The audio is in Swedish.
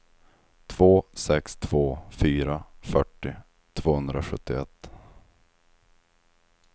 två sex två fyra fyrtio tvåhundrasjuttioett